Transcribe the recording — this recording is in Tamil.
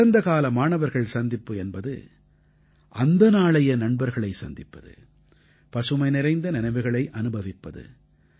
கடந்தகால மாணவர்கள் சந்திப்பு என்பது அந்த நாளைய நண்பர்களைச் சந்திப்பது பசுமை நிறைந்த நினைவுகளை அனுபவிப்பது